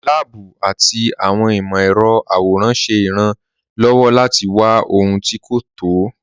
Láàbù àti awọn imọ̀-ẹrọ̀ àwòràn ṣẹ́ ìràn-lọ́wọ́ láti wà ọhun tí́ kò tọ́.